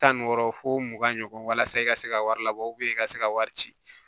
Tan ni wɔɔrɔ fo mugan ɲɔgɔn walasa i ka se ka wari labɔ i ka se ka wari ci